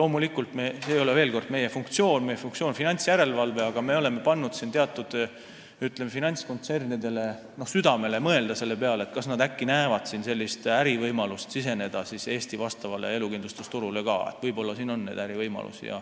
Veel kord: see ei ole meie funktsioon, meie funktsioon on finantsjärelevalve, aga me oleme pannud siin teatud, ütleme, finantskontsernidele südamele mõelda selle peale, kas nad äkki näevad siin ärivõimalust ja tahavad tulla Eesti elukindlustusturule.